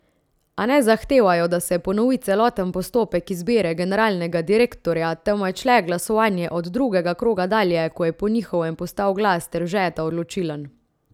A ne zahtevajo, da se ponovi celoten postopek izbire generalnega direktorja, temveč le glasovanje od drugega kroga dalje, ko je po njihovem postal glas Steržeta odločilen.